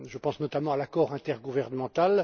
Je pense notamment à l'accord intergouvernemental.